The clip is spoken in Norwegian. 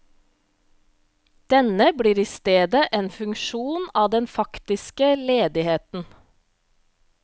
Denne blir i stedet en funksjon av den faktiske ledigheten.